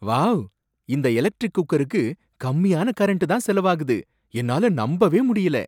Wow! இந்த electric குக்கருக்கு கம்மியான கரண்ட் தான் செலவாகுது, என்னால நம்பவே முடியல!